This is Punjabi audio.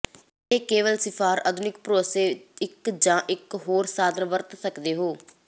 ਕੇਵਲ ਇਹ ਿਸਫ਼ਾਰ ਅਧੀਨ ਭਰੋਸੇ ਇੱਕ ਜ ਇਕ ਹੋਰ ਸਾਧਨ ਵਰਤ ਸਕਦੇ ਹੋ